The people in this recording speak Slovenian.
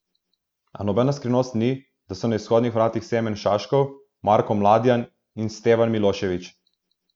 A nobena skrivnost ni, da so na izhodnih vratih Semen Šaškov, Marko Mladjan in Stevan Milošević.